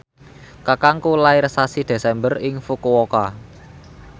kakangku lair sasi Desember ing Fukuoka